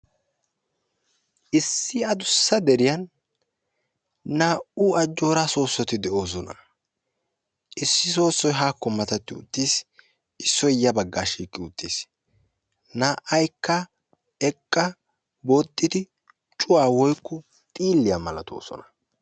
Issi adussa deriyaan naa"u ajjoora soossoti de'oosona. issoy soossoy haakko mattati uttiis, issoy yaa baggaa shiiqi uttiis. naa"aykka eqqa booxxidi cuwaa woykko xiilliyaa malatoosona.